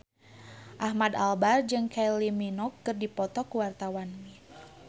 Ahmad Albar jeung Kylie Minogue keur dipoto ku wartawan